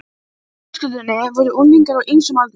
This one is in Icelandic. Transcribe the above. Í hinni fjölskyldunni voru unglingar á ýmsum aldri.